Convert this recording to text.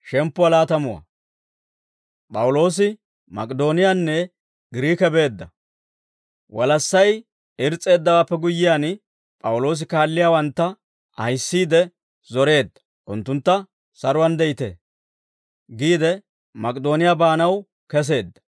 Walassay irs's'eeddawaappe guyyiyaan, P'awuloosi kaalliyaawantta ahissiide zoreedda; unttuntta, «Saruwaan de'ite» giide, Mak'idooniyaa baanaw keseedda.